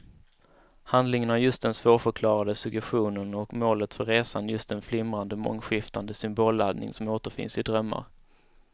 Handlingen har just den svårförklarade suggestion och målet för resan just den flimrande, mångskiftande symbolladdning som återfinns i drömmar.